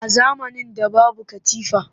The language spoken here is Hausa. A zamanin da babu katifa